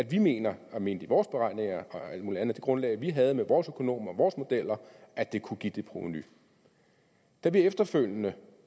vi mener og mente i vores beregninger og alt muligt andet i det grundlag vi havde med vores økonomer og vores modeller at det kunne give det provenu da vi efterfølgende